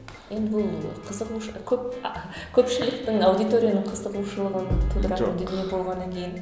енді бұл қызығушылық көп а көпшіліктің аудиторияның қызығушылығын тудыратын дүние болғаннан кейін